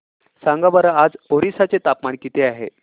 सांगा बरं आज ओरिसा चे तापमान किती आहे